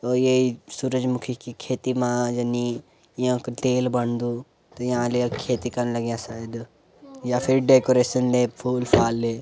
औ येई सूरजमुखी की खेती मा यनी यांकू तेल बणदू त यां लिया खेती कन लग्याँ शायद या फिर डेकोरेशन में फूल-फाल --